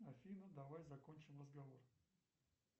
афина давай закончим разговор